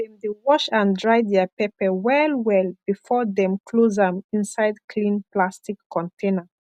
dem dey wash and dry their pepper well well before dem close am inside clean plastic container